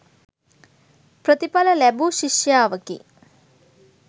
ප්‍රතිඵල ලැබූ ශිෂ්‍යාවකි.